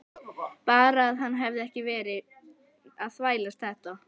Bara að hann hefði ekki verið að þvælast þetta.